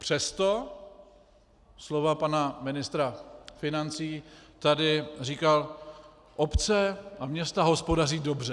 Přesto slova pana ministra financí, tady říkal: obce a města hospodaří dobře.